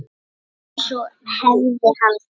Mun sú hefð haldast?